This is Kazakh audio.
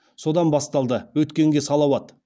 содан басталды өткенге салауат